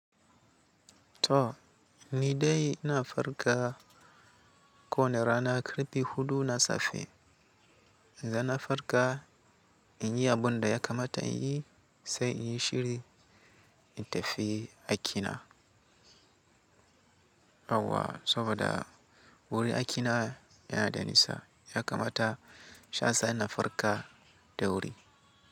To, ni dai ina farka ko wane rana karfe hudu na safe. Dan na farka in yi abun da ya kamata in yi sai in yi shiri in tafi aiki na. Awwa saboda wuri aiki na yana Danisa ya kamata sha sa na farka da wuri.